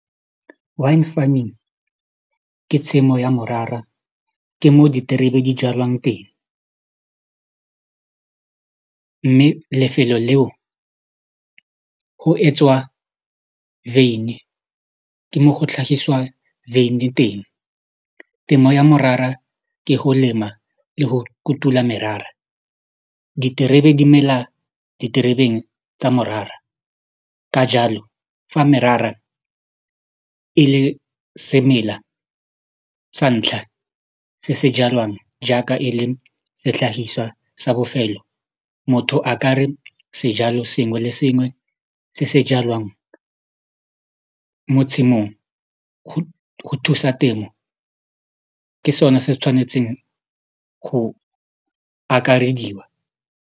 Wine farming ke tshimo ya morara ke mo diterebe di jalwang teng mme lefelo leo go etswa veine ke mo go tlhagiswa veine teng temo ya morara ke go lema le go kutula merara diterebe di mela diterebeng tsa morara ka jalo fa merara e le semela sa ntlha se se jalwang jaaka e le setlhagiswa sa bofelo motho a kare sejalo sengwe le sengwe se se jalwang mo tshimong go thusa temo ke sone se tshwanetseng go akarediwa.